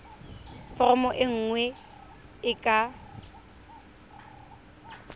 foromo e nngwe e ka